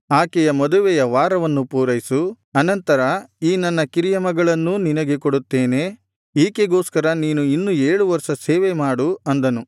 ಆಕೆಯ ಮದುವೆಯ ವಾರವನ್ನು ಪೂರೈಸು ಅನಂತರ ಈ ನನ್ನ ಕಿರಿಯ ಮಗಳನ್ನೂ ನಿನಗೆ ಕೊಡುತ್ತೇನೆ ಈಕೆಗೋಸ್ಕರ ನೀನು ಇನ್ನೂ ಏಳು ವರ್ಷ ಸೇವೆಮಾಡು ಅಂದನು